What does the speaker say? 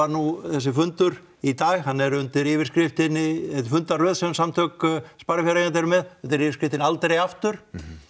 nú þessi fundur í dag hann er undir yfirskriftinni er fundaröð sem Samtök sparifjáreigenda eru með undir yfirskriftinni aldrei aftur